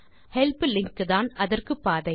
help link தான் அதற்கு பாதை